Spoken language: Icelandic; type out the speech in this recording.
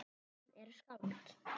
Hann er skáld.